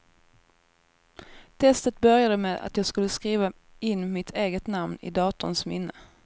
Testet började med att jag skulle skriva in mitt eget namn i datorns minne.